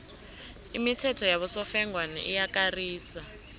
imithetho yabosofengwana iyakarisa